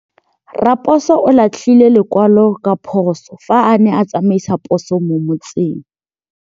Raposo o latlhie lekwalô ka phosô fa a ne a tsamaisa poso mo motseng.